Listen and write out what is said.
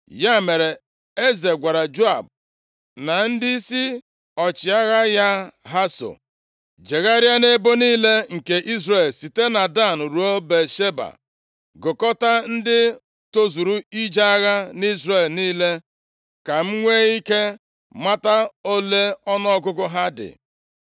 Ya mere, eze gwara Joab na ndịisi ọchịagha ya ha so, “Jegharịa nʼebo niile nke Izrel, site na Dan ruo Bịasheba, gụkọtaa ndị tozuru ije agha nʼIzrel niile ka m nwee ike mata ole ọnụọgụgụ ha dị.”